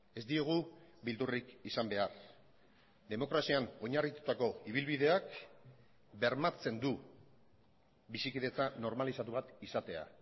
ez diogu beldurrik izan behar demokrazian oinarritutako ibilbideak bermatzen du bizikidetza normalizatu bat izatea